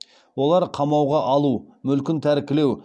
олар қамауға алу мүлкін тәркілеу